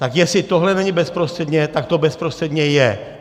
Tak jestli tohle není bezprostředně, tak to bezprostředně je.